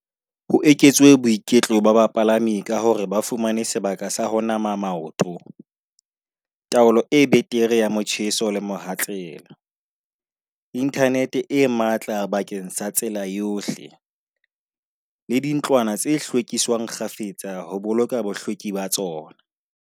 Ho eketswe boiketlo ba bapalami ka hore ba fumane sebaka sa ho nama maoto, taolo e betere ya motjheso le mohatsela. Internet e matla bakeng sa tsela yohle le dintlwana tse hlwekiswang kgafetsa ho boloka bohlweki ba tsona.